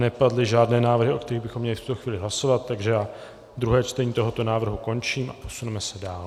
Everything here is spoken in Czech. Nepadly žádné návrhy, o kterých bychom měli v tuto chvíli hlasovat, takže já druhé čtení tohoto návrhu končím a posuneme se dál.